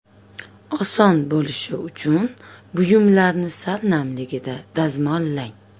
Oson bo‘lishi uchun buyumlarni sal namligida dazmollang.